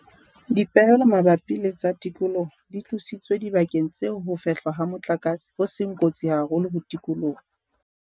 Dipehelo mabapi le tsa tikoloho di tlositswe dibakeng tseo ho fehlwa ha motlakase ho seng kotsi haholo ho tikoloho.